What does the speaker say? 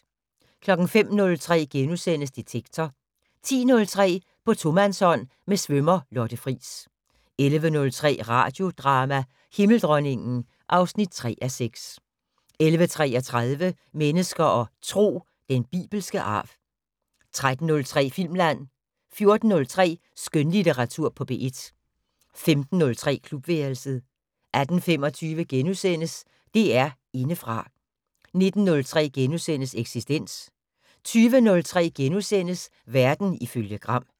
05:03: Detektor * 10:03: På tomandshånd med svømmer Lotte Friis 11:03: Radiodrama: Himmeldronningen (3:6) 11:33: Mennesker og Tro: Den bibelske arv 13:03: Filmland 14:03: Skønlitteratur på P1 15:03: Klubværelset 18:25: DR Indefra * 19:03: Eksistens * 20:03: Verden ifølge Gram *